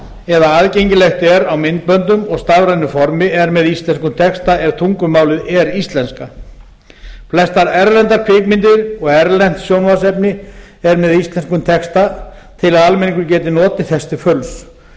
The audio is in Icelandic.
eða aðgengilegt er á myndböndum og stafrænu formi er með íslenskum texta ef tungumálið er íslenska flestar erlendar kvikmyndir og erlent sjónvarpsefni er með íslenskum texta til að almenningur geti notið þess til fulls